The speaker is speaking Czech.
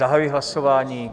Zahajuji hlasování.